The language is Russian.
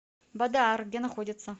бадаар где находится